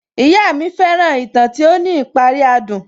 Ìyá mi fẹ́ràn ìtàn tí ó ní ìparí adùn